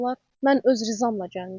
Mən öz rizəmlə gəlmişəm.